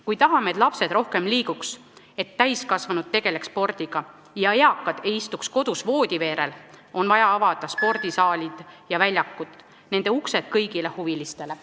Kui tahame, et lapsed rohkem liiguks, et täiskasvanud tegeleks spordiga ja eakad ei istuks kodus voodiveerel, siis on vaja avada spordisaalide ja väljakute uksed kõigile huvilistele.